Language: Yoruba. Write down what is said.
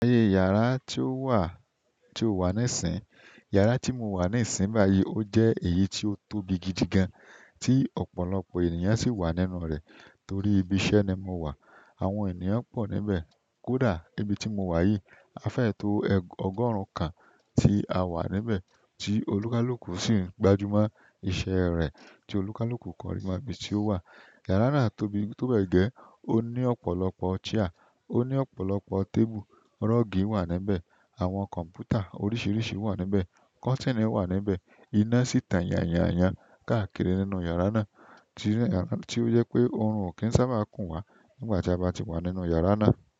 Yàrá tí ó wà, tí ó wà níìsín, yàrá tí mo wà níìsín báyìí ó jẹ́ èyí tí ó tóbi gidigan, tí ọ̀pọ̀lọpọ̀ ènìyàn sì wà nínú rẹ̀ torí ibi iṣẹ́ ni mo wà. Àwọn ènìyàn pọ̀ níbẹ̀. Kódà níbi tí mo wà yìí, a fẹ́ to ọgọ́rùn kan tí a wà níbẹ̀ tí olùkálùkù sì ń gbájúmọ́ iṣẹ́ rẹ̀ tí olùkálùkù kan ri mo ibi tí ó wà. Yàrá náà tóbi tó bẹ́ẹ̀ gẹ́, ó ní ọ̀pọ̀lọpọ̀ chair, o ni ọ̀pọ̀lọpọ̀ table rug wa níbẹ̀, àwọn computer oríṣiríṣi wa níbẹ̀, cotini wa níbẹ̀, ina si tan yanyan yan káàkiri nínú yara náà, ti o je pe oorun o ki sábà kun wa nígbà ti a ba ti wa nínú yara náà.